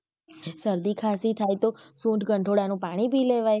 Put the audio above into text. શરદી ખાંસી થાય તો સૂંઠ ગંઠોડા નું પાણી પી લેવાય.